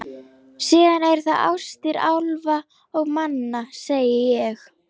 Síðan eru það ástir álfa og manna, segi ég.